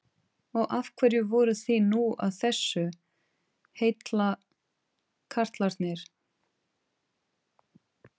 Og af hverju voruð þið nú að þessu, heillakarlarnir?